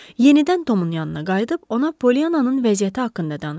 Yenidən Tomun yanına qayıdıb ona Pollyanannın vəziyyəti haqqında danışdı.